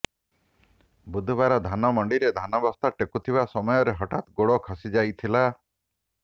ବୁଧବାର ଧାନ ମଣ୍ଡିରେ ଧାନ ବସ୍ତା ଟେକୁଥିବା ସମୟରେ ହଠାତ ଗୋଡ଼ ଖସି ଯାଇଥିଲା